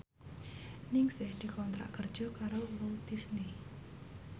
Ningsih dikontrak kerja karo Walt Disney